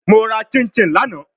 Mo ra chinchin lana